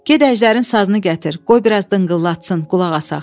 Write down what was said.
Get, əjdərin sazını gətir, qoy biraz dınqıllatsın, qulaq asaq.